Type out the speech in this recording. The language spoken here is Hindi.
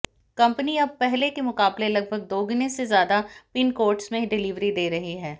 कंपनी अब पहले के मुकाबले लगभग दोगुने से ज्यादा पिनकोड्स में डिलीवरी दे रही है